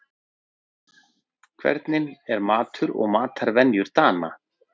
Hvernig eru matur og matarvenjur Dana?